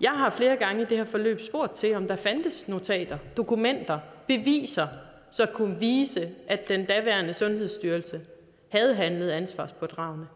jeg har flere gange i det her forløb spurgt til om der fandtes notater dokumenter beviser som kunne vise at den daværende sundhedsstyrelse har handlet ansvarspådragende